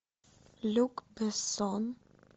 люк бессон